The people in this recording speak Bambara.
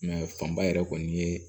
fanba yɛrɛ kɔni ye